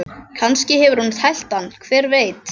Kannski hefur hún tælt hann, hver veit?